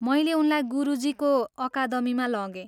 मैले उनलाई गुरुजीको अकादमीमा लगेँ।